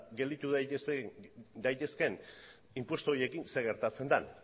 gelditu daitezkeen inpostu horiekin zer gertatzen den